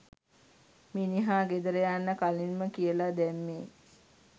මිනිහා ගෙදර යන්න කලින්ම කියලා දැම්මෙ